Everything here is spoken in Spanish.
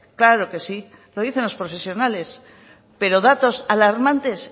claro que sí lo dicen los profesionales pero datos alarmantes